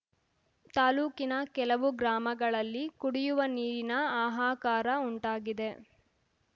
ತಾಲೂಕಿನ ಕೆಲವು ಗ್ರಾಮಗಳಲ್ಲಿ ಕುಡಿಯುವ ನೀರಿನ ಹಾಹಾಕಾರ ಉಂಟಾಗಿದೆ